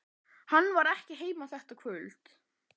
Hann var ekki heima þetta kvöld.